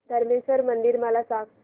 धरमेश्वर मंदिर मला सांग